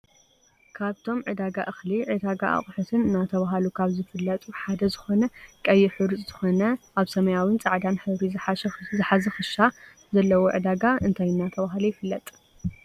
ካብቶም ዒዳጋ እክሊ ዒዳጋ ኣቁሑትን እናተባህሉ ካብ ዝፍለጡ ሓደ ዝኮነ ቀይሕ ሕሩጭ ዝኮነ ኣብ ሰማያዊን ፃዕዳን ሕብሪ ዝሓዘ ክሻ ዘለዎ ዒዳጋ እንታይ እናተባህለ ይፍለጥ?